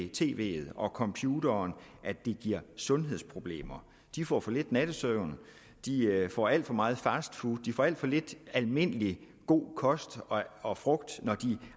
tv’et og computeren at det giver sundhedsproblemer de får for lidt nattesøvn de får alt for meget fastfood de får alt for lidt almindelig god kost og frugt når de